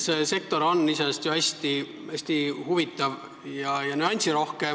See sektor on iseenesest ju hästi huvitav ja nüansirohke.